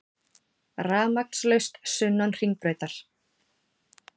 Rafmagnslaust sunnan Hringbrautar